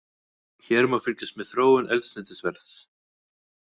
Hér má fylgjast með þróun eldsneytisverðs